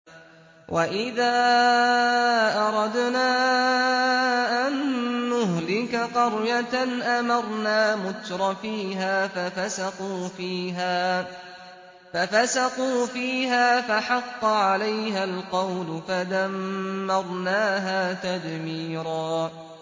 وَإِذَا أَرَدْنَا أَن نُّهْلِكَ قَرْيَةً أَمَرْنَا مُتْرَفِيهَا فَفَسَقُوا فِيهَا فَحَقَّ عَلَيْهَا الْقَوْلُ فَدَمَّرْنَاهَا تَدْمِيرًا